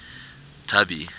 tubby